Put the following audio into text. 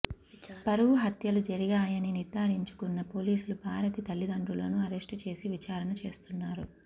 పరువు హత్యలు జరిగాయని నిర్ధారించుకున్న పోలీసులు భారతి తల్లిదండ్రులను అరెస్టు చేసి విచారణ చేస్తున్నారు